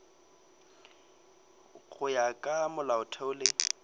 go ya ka molaotheo le